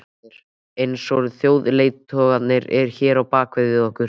Heimir: Eins og þjóðarleiðtogarnir hér á bak við okkur?